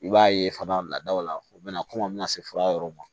I b'a ye fana ladaw la u bɛna kɔmɔ se fura yɔrɔw ma